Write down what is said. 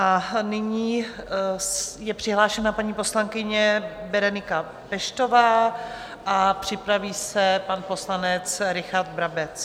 A nyní je přihlášená paní poslankyně Berenika Peštová a připraví se pan poslanec Richard Brabec.